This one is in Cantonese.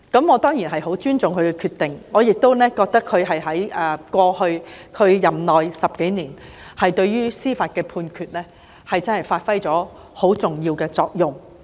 我當然十分尊重他的決定，並認為他過去10多年的任內，在司法判決上發揮了十分重要的作用。